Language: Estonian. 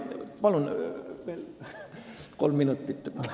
Palun veel kolm minutit!